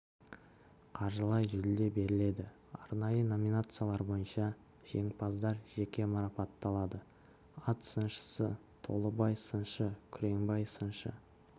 қаржылай жүлде беріледі арнайы номинациялар бойынша жеңімпаздар жеке марапатталады ат сыншысы толыбай сыншы күреңбай сыншы